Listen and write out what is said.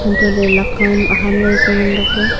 anto ley laka am chu aham ley chu ngan bak ley.